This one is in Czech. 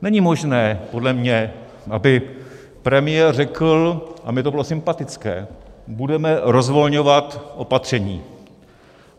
Není možné podle mě, aby premiér řekl, a mně to bylo sympatické: budeme rozvolňovat opatření.